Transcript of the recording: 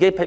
案。